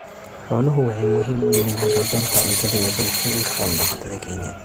Xooluhu waxay muhiim u yihiin haqab-beelka cuntada ee bulshooyinka xoolo-dhaqatada Kenya.